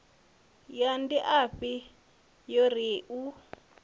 ya ndiafhi yo ri u